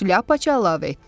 Şlyapaçı əlavə etdi.